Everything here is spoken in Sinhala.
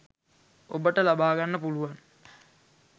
ඔබට ලබා ගන්න පුළුවන්.